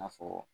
N'a fɔ